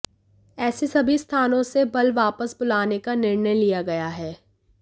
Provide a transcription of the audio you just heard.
ऐसे सभी स्थानों से बल वापस बुलाने का निर्णय लिया गया है